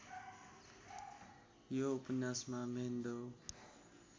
यो उपन्यासमा म्हेन्दो